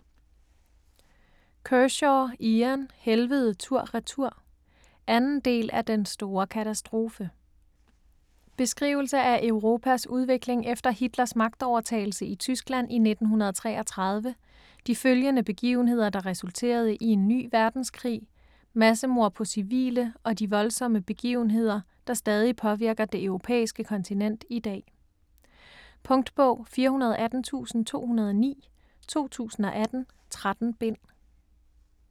Kershaw, Ian: Helvede tur-retur 2. del af Den store katastrofe. Beskrivelse af Europas udvikling efter Hitlers magtovertagelse i Tyskland i 1933, de følgende begivenheder der resulterede i en ny verdenskrig, massemord på civile og de voldsomme begivenheder, der stadig påvirker det europæiske kontinent i dag. Punktbog 418209 2018. 13 bind.